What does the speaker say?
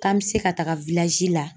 K'an me se ka taga la